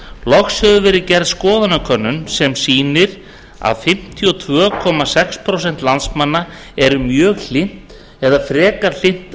loks hefur verið gerð skoðanakönnun sem sýnir að fimmtíu og tvö komma sex prósent landsmanna eru mjög hlynnt eða frekar hlynnt